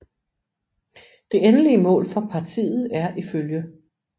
Det endelige mål for Partiet er iflg